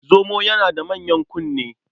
Zomo yana da manyan kunne.